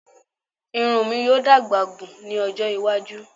Irun mi yoo dagba gun ni ojo iwaju